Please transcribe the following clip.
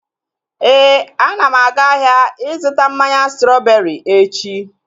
Éè, ana m aga ahịa ịzụta mmanya strọbeeri echi